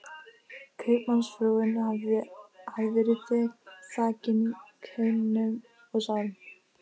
Kaupmannsfrúin hafði verið þakin kaunum og sárum